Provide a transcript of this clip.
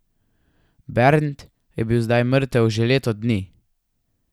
Bernd je bil zdaj mrtev že leto dni.